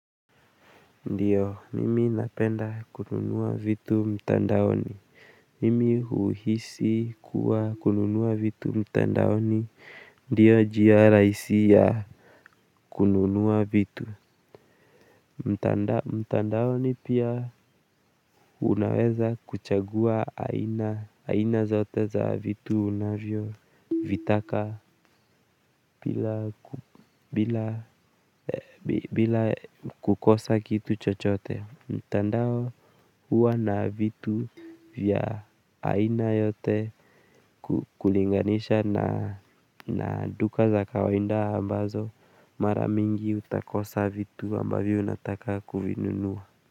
Ndiyo nimi napenda kununua vitu mtandaoni nimi uhisi kuwa kununua vitu mtandaoni ndiyo njia rahisi ya kununua vitu. Mtandaoni pia unaweza kuchagua aina zote za vitu unavyo vitaka bila kukosa kitu chochote, mtandao huwa na vitu vya aina yote kulinganisha na duka za kawaida ambazo maramingi utakosa vitu ambavyo unataka kuvinunua.